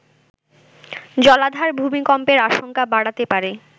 জলাধার ভুমিকম্পের আশঙ্কা বাড়াতে পারে